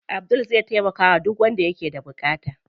Abdul zai taimakawa duk wanda ke da buƙata.